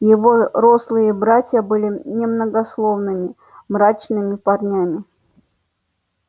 его рослые братья были немногословными мрачными парнями